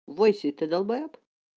войси ты долбаёб